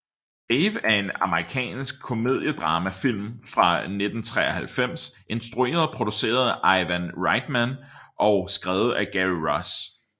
Dave er en amerikansk komediedramafilm fra 1993 instrueret og produceret af Ivan Reitman og skrevet af Gary Ross